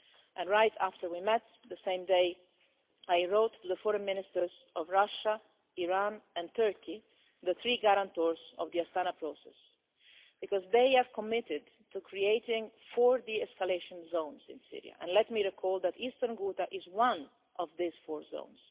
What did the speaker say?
And right after we met, the same day, I wrote to the Foreign Ministers of Russia, Iran and Turkey, the three guarantors of the Astana Process, because they have committed to creating four de escalation zones in Syria and let me recall that eastern Ghouta is one of these four zones.